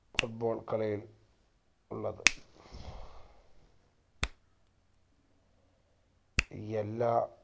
foot ball കളിയിൽ ഉള്ളത് എല്ലാ